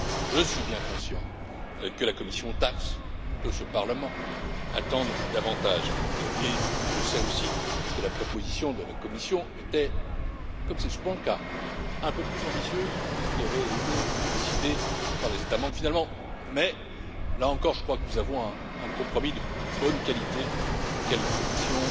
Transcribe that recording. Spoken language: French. Je suis bien conscient que la commission TAXE et ce Parlement attendent davantage, et je sais aussi que la proposition de la Commission était, comme c'est souvent le cas, un peu plus ambitieuse que ce qui avait été décidé par les États membres, finalement, mais là encore, je crois que nous avons un compromis de bonne qualité, auquel la Commission